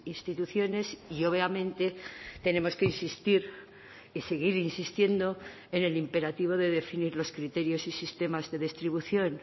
instituciones y obviamente tenemos que insistir y seguir insistiendo en el imperativo de definir los criterios y sistemas de distribución